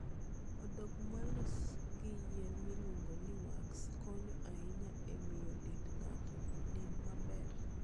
Odok molos gi yien miluongo ni wax konyo ahinya e miyo dend ng'ato onen maber.